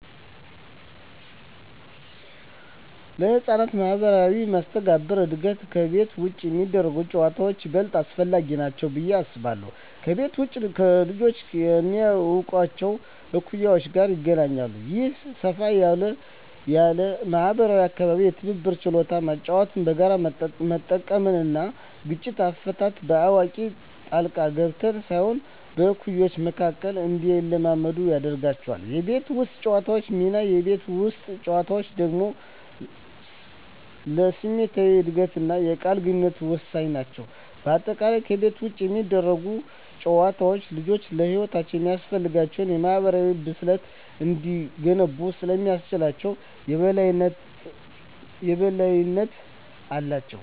ለሕፃናት ማኅበራዊ መስተጋብር እድገት ከቤት ውጭ የሚደረጉ ጨዋታዎች ይበልጥ አስፈላጊ ናቸው ብዬ አስባለሁ። ከቤት ውጭ ልጆች ከማያውቋቸው እኩዮች ጋር ይገናኛሉ። ይህ ሰፋ ያለ ማኅበራዊ አካባቢ የትብብር ችሎታን (መጫወቻዎችን በጋራ መጠቀም) እና ግጭት አፈታትን (በአዋቂ ጣልቃ ገብነት ሳይሆን በእኩዮች መካከል) እንዲለማመዱ ያደርጋቸዋል። የቤት ውስጥ ጨዋታዎች ሚና: የቤት ውስጥ ጨዋታዎች ደግሞ ለስሜታዊ እድገትና የቃል ግንኙነት ወሳኝ ናቸው። በአጠቃላይ፣ ከቤት ውጭ የሚደረጉ ጨዋታዎች ልጆች ለሕይወት የሚያስፈልጋቸውን የማኅበራዊ ብስለት እንዲገነቡ ስለሚያስችላቸው የበላይነት አላቸው።